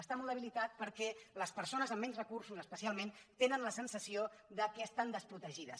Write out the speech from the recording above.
està molt debilitat perquè les persones amb menys recursos especialment tenen la sensació que estan desprotegides